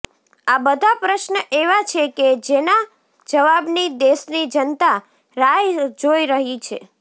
આ બધા પશ્ન એવા છે કે જેના જવાબની દેશની જનતા રાહ જોઈ રહી છે